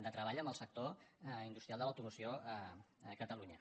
de treball en el sector industrial de l’automoció a catalunya